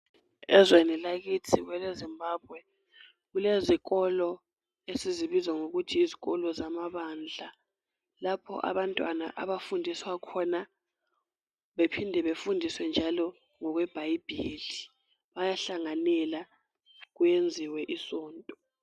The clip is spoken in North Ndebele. Ezweni lakithi kweleZimbabwe kulezikolo esizibizwa ngokuthi yizikolo zamabandla lapho abantwana abafundiswa khona bephinde babafundiswe njalo ngokwebhayibhili .Bayahlanganela kuyenziwe isonto .